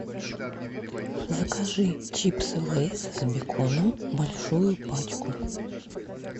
закажи чипсы лейс с беконом большую пачку